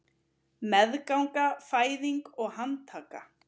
Meðganga, fæðing og handtaka